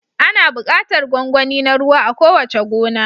Ana buƙatar gwangwani na ruwa a kowace gona.